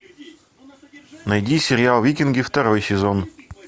найди сериал викинги второй сезон